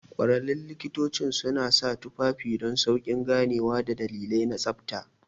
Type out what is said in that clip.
Ƙwararrun likitocin suna sa tufafin don sauƙin ganewa da dalilai na tsabta.